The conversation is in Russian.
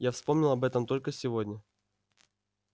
я вспомнил об этом только сегодня